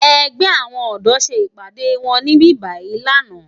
Ègbè áwòn òdò sé ipàdé wòn nìbíbàyí làná